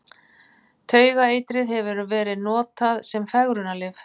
Taugaeitrið hefur verið notað sem fegrunarlyf.